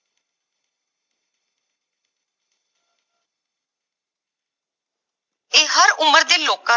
ਇਹ ਹਰ ਉਮਰ ਦੇ ਲੋਕਾਂ